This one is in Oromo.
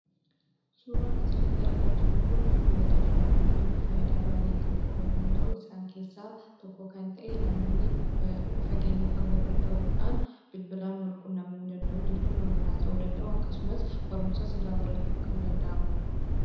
Suuraan asirratti argaa jirru kun bilbila jedhama. Innis faayidaa baay'ee kan qabu yoo ta'u, isaan keessaa tokko kan ta'e namoonni fageenya fagoorra ta'uu dhaan bilbilaan wal-quunnamuu danda'u jechuun waliin haasa'uu danda'u akkasumas barumsas irraa barachuun kan danda'amudha.